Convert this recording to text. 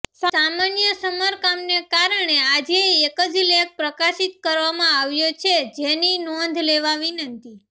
સામાન્ય સમારકામને કારણે આજે એક જ લેખ પ્રકાશિત કરવામાં આવ્યો છે જેની નોંધ લેવા વિનંતી